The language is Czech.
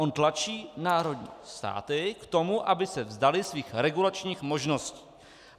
On tlačí národní státy k tomu, aby se vzdaly svých regulačních možností.